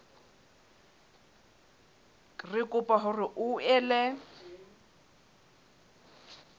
re kopa hore o ele